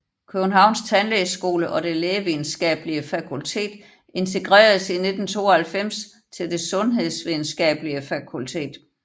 Københavns Tandlægehøjskole og Det Lægevidenskabelige Fakultet integreredes i 1992 til Det Sundhedsvidenskabelige Fakultet